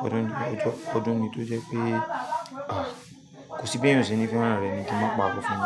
fẹ́ràn rẹ̀. Ọdún ni tó jẹ́ ọdún ni tó jẹ́ pé a kò sí bí èèyàn sẹni fẹ́ràn rẹ̀ ni kí mo pa kó fún.